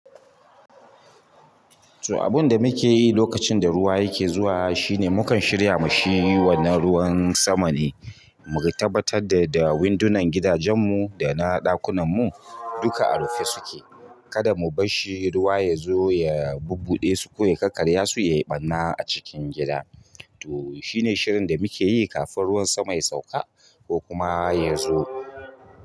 To abunda muke yi lokacin da ruwa yake zuwa shine mukan shirya ma shi wannan ruwan sama ne mu ga tabbatar da da windunan gidajenmu da na ɗakunanmu duka a rufe suke. Kada mu basshi ruwa ya zo ya bubbuɗe su ko ya kakkarya su, yai ɓarna a cikin gida. To shi ne shirin da muke yi kafin ruwan sama ya sauka ko kuma ya zo.